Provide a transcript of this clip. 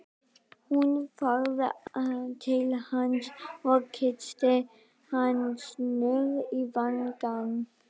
Hún hvarf til hans og kyssti hann snöggt á vangann.